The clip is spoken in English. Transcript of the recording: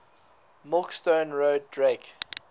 milkstone road drake